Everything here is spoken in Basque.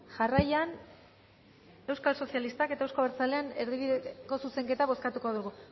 jarraian euskal sozialistak eta euzko abertzalean erdibideko zuzenketa bozkatuko dugu